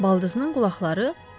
Baldızının qulaqları?